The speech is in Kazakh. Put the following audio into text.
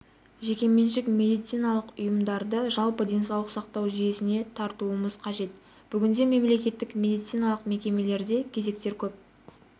жеке-меншік медициналық ұйымдарды жалпы денсаулық сақтау жүйесіне тартуымыз қажет бүгінде мемлекеттік медициналық мекемелерде кезектер көп